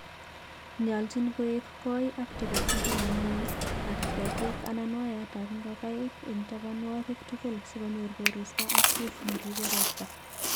nyoljin koek koi ak tebesindo ne ming'in, ak ketiik anan wayaitap ngogaik eng tabanwogik tugul si konyor koristow ak roof ne riibei ropta